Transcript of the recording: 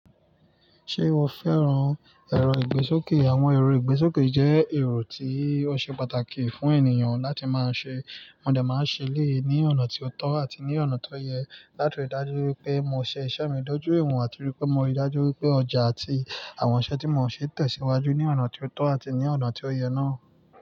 Ṣe mo fẹ́ran ẹ̀rọ ìgbésókè? Àwọn ẹ̀rọ ìgbésókè jẹ́ ẹ̀rọ tí ó ṣe pàtàkì fún ènìyàn láti máa ṣe. Mò dẹ máa ń ṣe èléyìí ní ọ̀nà tí ó tọ́ àti ní ọ̀nà tó yẹ láti dájú wípé mo ṣe iṣẹ́ mi dójú ìwọ̀n àti wípé mo rí dájú wípé ọjà àti àwọn iṣẹ́ tí mo ń ṣe tẹ̀síwájú ní ọ̀nà tí ó tọ́ àti ní ọ̀nà tí ó yẹ náà.